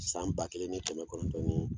San ba kelen ni kɛmɛ kɔnɔntɔn ni